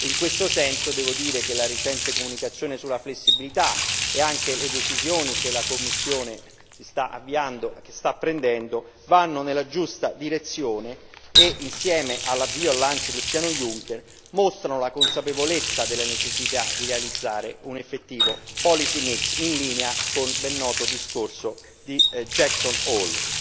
In questo senso devo dire che la recente comunicazione sulla flessibilità e anche le decisioni che la Commissione sta prendendo vanno nella giusta direzione e, insieme al lancio del piano Juncker, mostrano la consapevolezza della necessità di realizzare un effettivo policy mix in linea con il ben noto discorso di Jackson Hole.